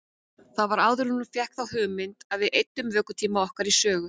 Það var áður en hún fékk þá hugmynd að við eyddum vökutíma okkar í sögu.